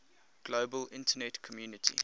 global internet community